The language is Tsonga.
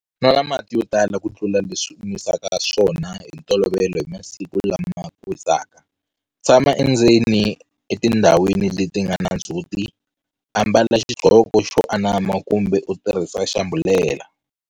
Nwana mati yo tala ku tlula leswi u nwisaka swona hi ntolovelo hi masiku lama ku hisaka. Tshama endzeni kumbe etindhawini leti nga na ndzhuti. Ambala xigqoko xo anama kumbe u tirhisa xambhulela.